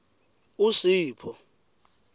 usipho